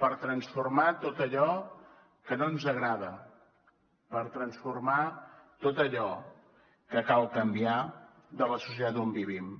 per transformar tot allò que no ens agrada per transformar tot allò que cal canviar de la societat on vivim